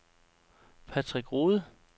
Patrick Rohde